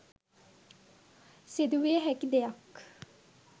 සිදුවිය හැකි දෙයක්.